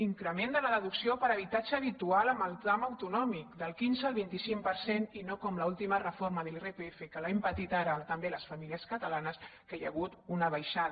increment de la deducció per habitatge habitual en el tram autonòmic del quinze al vint cinc per cent i no com l’última reforma de l’irpf que l’hem pa·tit ara també les famílies catalanes que hi ha hagut una baixada